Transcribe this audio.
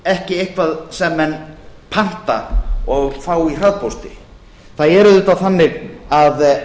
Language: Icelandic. ekki eitthvað sem menn panta og fá í hraðpósti það er auðvitað þannig að